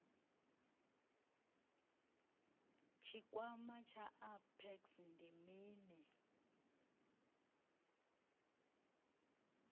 tshikwama tsha apex ndi mini